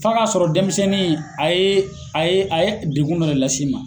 F'a ka sɔrɔ denmisɛnnin a ye a ye a ye degun dɔ de las'i ma.